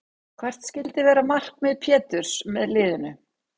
Hvert skyldi vera markmið Péturs með liðinu?